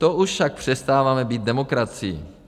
To už však přestáváme být demokracií.